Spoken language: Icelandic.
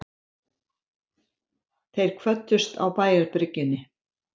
Þeir kvöddust á bæjarbryggjunni.